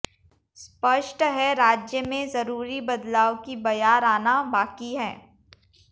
स्पष्ट है राज्य में जरूरी बदलाव की बयार आना बाकि है